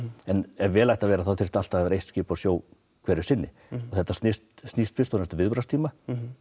en ef vel ætti að vera þá þyrfti alltaf að vera eitt skip á sjó hverju sinni þetta snýst snýst fyrst og fremst um viðbragðstíma